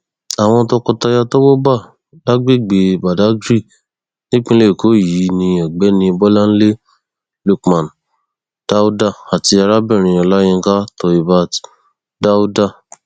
àwọn tọkọtaya tọwọ bá lágbègbè badáyrì nípìnlẹ èkó yìí ní ọgbẹni bolanlé lookman dauda àti arábìnrin olayinka toheebat daude